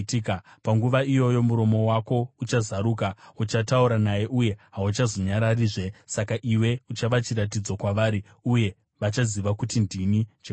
Panguva iyoyo muromo wako uchazaruka; uchataura naye uye hauchazonyararizve. Saka iwe uchava chiratidzo kwavari, uye vachaziva kuti ndini Jehovha.”